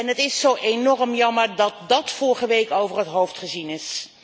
Het is zo enorm jammer dat dat vorige week over het hoofd gezien is.